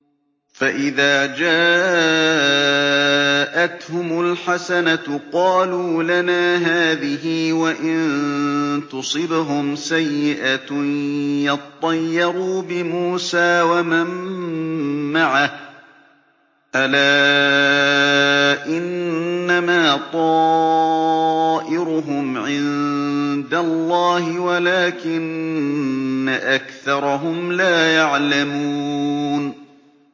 فَإِذَا جَاءَتْهُمُ الْحَسَنَةُ قَالُوا لَنَا هَٰذِهِ ۖ وَإِن تُصِبْهُمْ سَيِّئَةٌ يَطَّيَّرُوا بِمُوسَىٰ وَمَن مَّعَهُ ۗ أَلَا إِنَّمَا طَائِرُهُمْ عِندَ اللَّهِ وَلَٰكِنَّ أَكْثَرَهُمْ لَا يَعْلَمُونَ